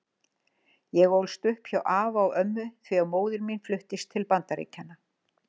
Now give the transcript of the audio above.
Ég ólst upp hjá afa og ömmu því að móðir mín fluttist til Bandaríkjanna.